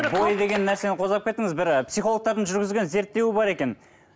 бойы деген нәрсені қозғап кеттіңіз бір і психологтардың жүргізген зерттеуі бар екен